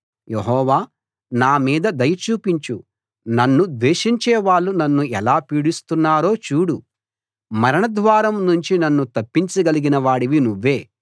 యెహోవా నా మీద దయ చూపించు నన్ను ద్వేషించేవాళ్ళు నన్ను ఎలా పీడిస్తున్నారో చూడు మరణద్వారం నుంచి నన్ను తప్పించగలిగిన వాడివి నువ్వే